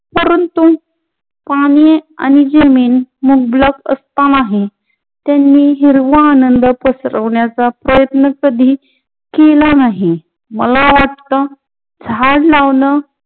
परंतु पानी आणि जमीन उपलब्द नसता नाही. त्यांही हिरवा आनंद पसव्रण्याचा प्रयत्न कधी केला नाही. मला वाटत झाड लाऊन